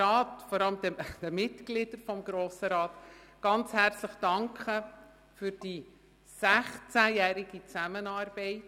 Ich danke den Mitgliedern des Grossen Rats ganz herzlich für die 16-jährige Zusammenarbeit.